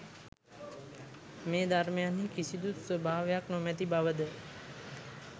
මේ ධර්මයන්හි කිසිදු ස්වභාවයක් නොමැති බවද